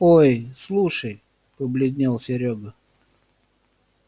ой слушай побледнел серёга